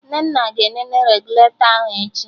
Nnenna ga-enene regụlatọ ahụ echi